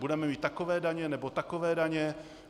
Budeme mít takové daně nebo takové daně?